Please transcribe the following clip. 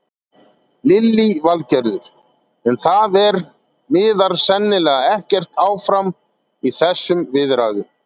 Lillý Valgerður: En það er, miðar sennilega ekkert áfram í þessum viðræðum?